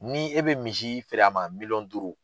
Ni e bɛ misi feere a ma miliyɔn duuru